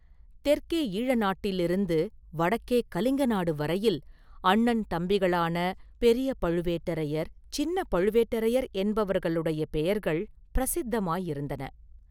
தெற்கே ஈழநாட்டிலிருந்து வடக்கே கலிங்க நாடு வரையில் அண்ணன் தம்பிகளான பெரிய பழுவேட்டரையர், சின்னப் பழுவேட்டரையர் என்பவர்களுடைய பெயர்கள் பிரசித்தமாயிருந்தன.